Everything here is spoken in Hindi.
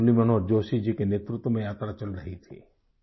डॉ मुरली मनोहर जोशी जी के नेतृत्व मे यात्रा चल रही थी